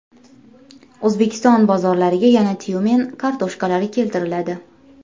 O‘zbekiston bozorlariga yana Tyumen kartoshkalari keltiriladi .